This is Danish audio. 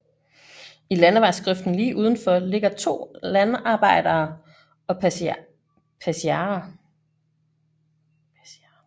I landevejsgrøften lige udenfor ligger to landarbejdere og passiarer